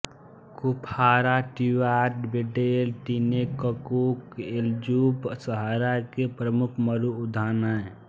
Kufra टूयाट वेडेले टिनेककूक एलजूफ सहारा के प्रमुख मरुउद्यान हैं